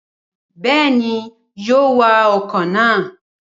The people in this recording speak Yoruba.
Bẹẹni yóò wà ọkọ na